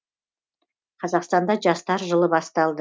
қазақстанда жастар жылы басталды